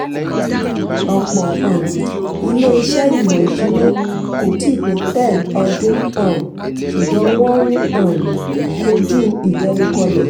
ọ̀pọ̀ um iléeṣẹ́ ìmọ̀ ìsúná kò tíì pé ten ọdún um ṣùgbọ́n wọ́n ń um kojú ìdẹnukọlẹ̀.